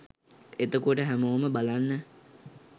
එතකොට හැමෝම බලන්න